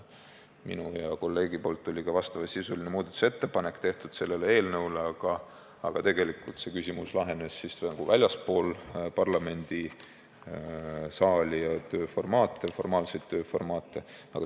Minult ja kolleegilt tuli selle kohta ka vastavasisuline muudatusettepanek, aga tegelikult lahenes see küsimus väljaspool parlamendisaali ja formaalseid tööformaate.